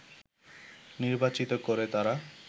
নির্বাচিত করে তারা